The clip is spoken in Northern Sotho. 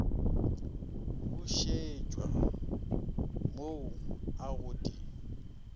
bušetšwa mo la go di